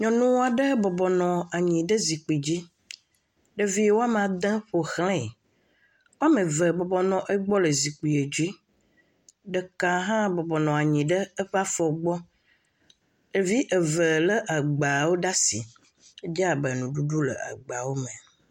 Nyɔnu aɖe bɔbɔ nɔ nyi ɖe zikpi dzi. Ɖevi woame ade ƒo ʋlɛ. Woame ve bɔbɔ nɔ egbɔ le zikpiɛ dzi. Ɖeka hã bɔbɔ nɔ anyi ɖe eƒe afɔ gbɔ. Ɖevi eve lé egbewo ɖe asi. Edze abe nuɖuɖu le agbawo me.